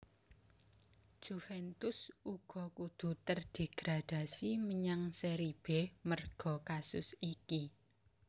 Juventus uga kudu terdegradasi menyang Seri B merga kasus iki